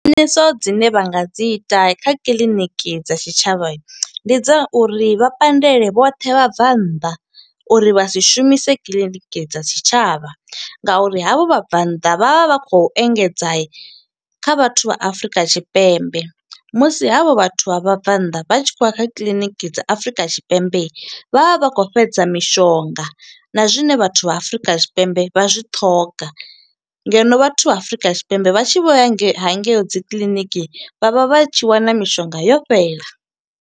Khwiṋiso dzine vha nga dzi ita kha kiḽiniki dza tshitshavha, ndi dza uri vha pandele vhoṱhe vhabvannḓa uri vha si shumise kiḽiniki dza tshitshavha. Nga uri ha vho vhabvannḓa vha vha vha khou engedza kha vhathu vha Afrika Tshipembe, musi ha vho vhathu vha vhabvannḓa vha tshi khou ya kha kiḽiniki dza Afurika Tshipembe, vha vha vha khou fhedza mishonga na zwine vhathu vha Afrika Tshipembe vha zwi ṱhoga. Ngeno vhathu vha Afrika Tshipembe vha tshi vho ya nga ha nge yo dzi kiḽiniki, vha vha vha tshi wana mishonga yo fhela.